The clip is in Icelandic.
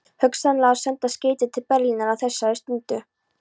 Hugsanlega að senda skeyti til Berlínar á þessari stundu.